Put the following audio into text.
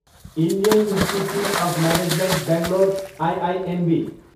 Indian institute of management Bangalore, IIMB